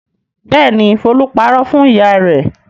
Bẹ́ẹ̀ ni, Folú parọ́ fún ìyá rẹ̀.